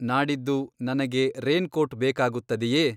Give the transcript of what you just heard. ನಾಡಿದ್ದು ನನಗೆ ರೇನ್‌ಕೋಟ್ ಬೇಕಾಗುತ್ತದೆಯೇ